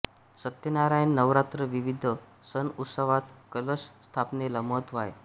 सत्यनारायण नवरात्र विविध सण उत्सवात कलश स्थापनेला महत्त्व आहे